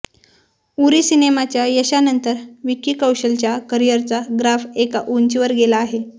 उरी सिनेमाच्या यशानंतर विक्की कौशलच्या करिअरचा ग्राफ एका उंचीवर गेला आहे